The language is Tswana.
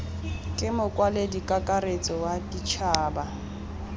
ke mokwaledi kakaretso wa ditšhaba